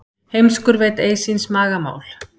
Heimskur veit ei síns maga mál.